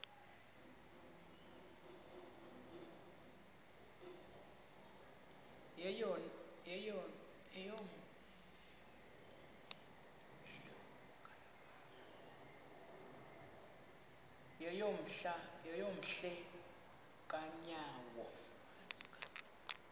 yeyom hle kanyawo